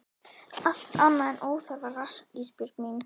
Allt annað er óþarfa rask Ísbjörg mín.